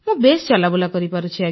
ମୁଁ ବେଶ୍ ଚଲାବୁଲା କରିପାରୁଛି